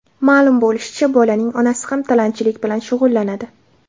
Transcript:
Ma’lum bo‘lishicha, bolaning onasi ham tilanchilik bilan shug‘ullanadi.